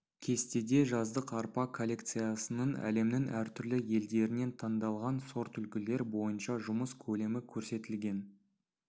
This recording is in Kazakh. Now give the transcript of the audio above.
кестеде жаздық арпа коллекциясының әлемнің әртүрлі елдерінен таңдалған сортүлгілер бойынша жұмыс көлемі көрсетілген